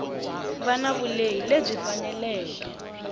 va na vulehi lebyi faneleke